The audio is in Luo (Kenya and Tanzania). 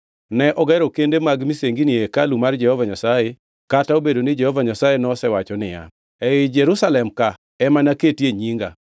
Ne ogero kende mag misengini e hekalu mar Jehova Nyasaye, kata obedo ni Jehova Nyasaye nosewacho niya, “Ei Jerusalem ka ema naketie nyinga.”